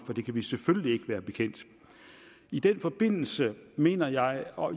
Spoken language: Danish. det kan vi selvfølgelig ikke være bekendt i den forbindelse mener jeg og